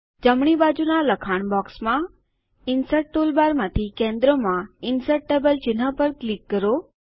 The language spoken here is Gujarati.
જમણી બાજુના લખાણ બોક્સમાં જીટીજીટી ઇન્સર્ટ ટૂલબાર માંથી કેન્દ્રમાં ઇન્સર્ટ ટેબલ ચિહ્ન પર ક્લિક કરો